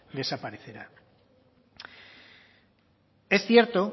desaparecerá es cierto